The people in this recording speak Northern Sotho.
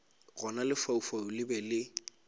gona lefaufau le be le